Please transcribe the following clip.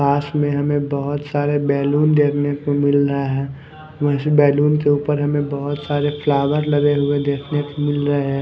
पास में हमें बहुत सारे बैलून देखने को मिल रहा है इस बैलून के ऊपर हमें बहुत सारे फ्लावर लगे हुए देखने को मिल रहा है।